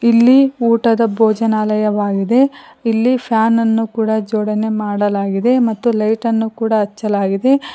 ಇಲ್ಲಿ ಊಟದ ಭೋಜನಾಲಯವಾಗಿದೆ ಇಲ್ಲಿ ಫ್ಯಾನ ನನ್ನು ಕೂಡ ಜೋಡಣೆ ಮಾಡಲಾಗಿದೆ ಮತ್ತು ಲೈಟ್ ಅನ್ನು ಕೂಡ ಹಚ್ಚಲಾಗಿದೆ.